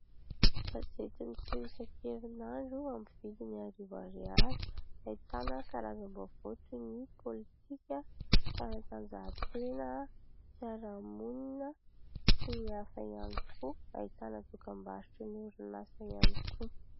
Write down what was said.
Gazety miseho isan-kerin'andro, amin'ny vidiny arivo ariary, ahitana karazam-baovao toy ny politika, fanatanjahantena, fiarahamonina sy ny hafa ihany koa. Ahitana dokam-barotra ny orinasa ihany koa.